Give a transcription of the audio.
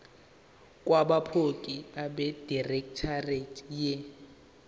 kwabophiko abedirectorate ye